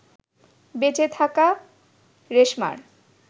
বেঁচে থাকা রেশমার